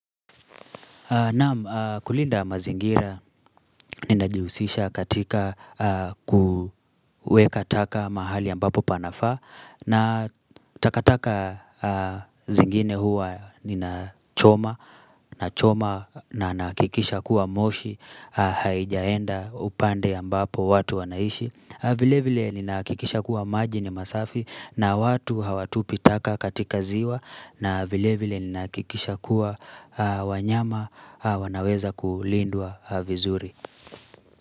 Naam kulinda mazingira ninajihusisha katika kuweka taka mahali ambapo panafaa na takataka zingine huwa nina choma choma na nahakikisha kuwa moshi haijaenda upande ambapo watu wanaishi vile vile ninahakikisha kuwa maji ni masafi na watu hawatupi taka katika ziwa na vile vile ni nahakikisha kuwa wanyama wanaweza kulindwa vizuri.